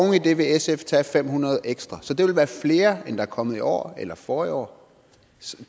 det vil sf tage fem hundrede ekstra så det vil være flere end der er kommet i år eller forrige år